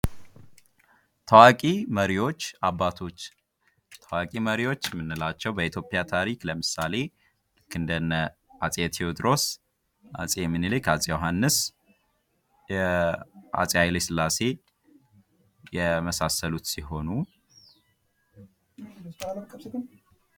ታዋቂ መሪዎች አባቶች ታዋቂ መሪዎች የምንላቸው በኢትዮጵያ ታሪክ ለምሳሌ ልክ እንደነ አፄ ቴወድሮስ አፄ ሚኒሊክ አፄ ዮሐንስ አፄ ሃይለስላሴ የመሳሰሉት ሲሆኑ::